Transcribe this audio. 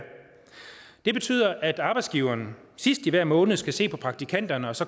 det betyder at arbejdsgiveren sidst i hver måned skal se på praktikanterne og så